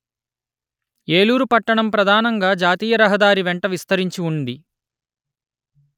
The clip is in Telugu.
ఏలూరు పట్టణం ప్రధానంగా జాతీయ రహదారి వెంట విస్తరించి ఉంది